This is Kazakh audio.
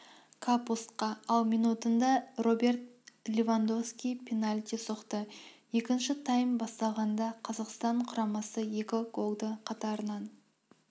капустка ал минутында роберт левандонвски пенальти соқты екінші тайм басталғанда қазақстан құрамасы екі голды қатарынан